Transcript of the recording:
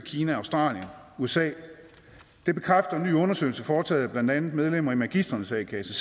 kina australien usa det bekræfter en ny undersøgelse foretaget af blandt andet medlemmer i magistrenes a kasse